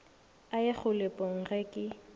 a ye kgolegong ge ke